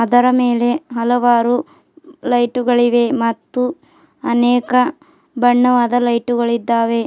ಅದರ ಮೇಲೆ ಹಲವಾರು ಲೈಟುಗಳಿವೆ ಮತ್ತು ಅನೇಕ ಬಣ್ಣವಾದ ಲೈಟುಗಳಿದ್ದಾವೆ.